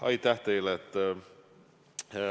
Aitäh teile!